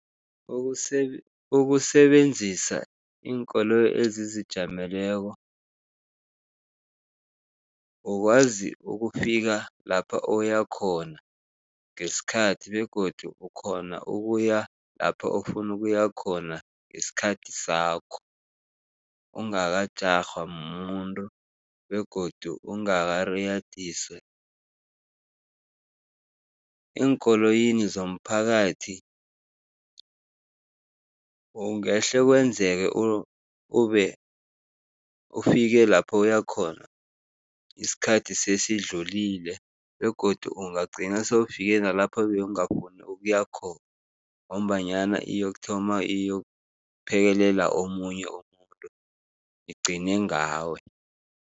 Ukusebenzisa iinkoloyi ezizijameleko ukwazi ukufika lapha oyakhona ngesikhathi begodu ukghona ukuya lapho ofuna ukuya khona ngesikhathi sakho, ungakajarhwa mumuntu begodu ungakariyadiswa. Eenkoloyini zomphakathi ungahle kwenzeke ube ufike lapho uyakhona isikhathi sesidlulile begodu ungagcina sewufike nalapha bewungakghoni ukuya khona ngombanyana iyokuthoma iyokuphekelela omunye umuntu, igcine ngawe.